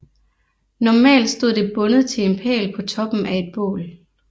Normalt stod det bundet til en pæl på toppen af et bål